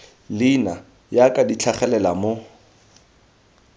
leina jaaka di tlhagelela mo